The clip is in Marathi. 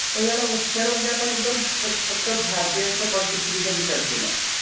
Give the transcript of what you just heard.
तर याला उपचार म्हणजे आपण एकदम फक्त भारतीयांच्या